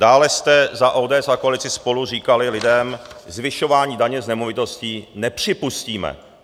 Dále jste za ODS a koalici SPOLU říkali lidem: "Zvyšování daně z nemovitostí nepřipustíme.